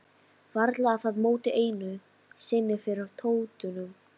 Varla að það móti einu sinni fyrir tóttunum.